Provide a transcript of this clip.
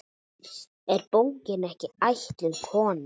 Er bókin ekki ætluð konum?